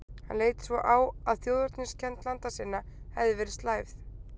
Hann leit svo á, að þjóðerniskennd landa sinna hefði verið slævð.